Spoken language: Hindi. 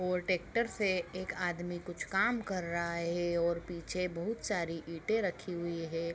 और ट्रेक्टर से एक आदमी कुछ काम कर रहा है और पीछे बहोत सारी ईटे रखी हुवी है।